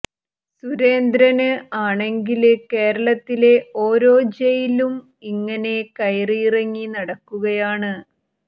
സുരേന്ദ്രന് ആണെങ്കില് കേരളത്തിലെ ഓരോ ജയിലും ഇങ്ങനെ കയറിയിറങ്ങി നടക്കുകയാണ്